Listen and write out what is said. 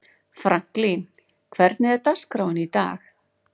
Franklin, hvernig er dagskráin í dag?